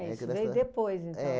isso, veio depois, então?